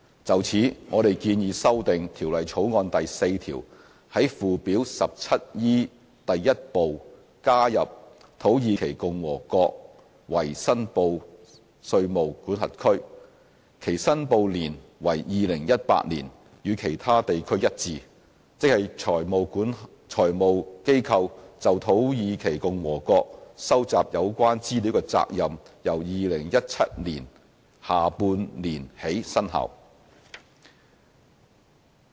就此，我們建議修訂《條例草案》第4條，在附表 17E 第1部加入"土耳其共和國"為申報稅務管轄區，其申報年為 "2018" 年，與其他地區一致，即財務機構就土耳其共和國收集有關資料的責任由2017年下半年起生效。